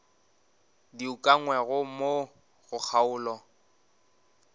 di ukangwego mo go kgaolo